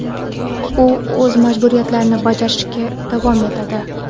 u o‘z majburiyatlarini bajarishda davom etadi.